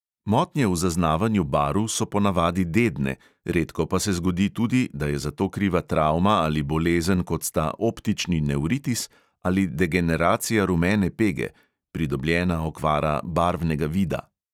Motnje v zaznavanju barv so ponavadi dedne, redko pa se zgodi tudi, da je za to kriva travma ali bolezen, kot sta optični nevritis ali degeneracija rumene pege (pridobljena okvara barvnega vida).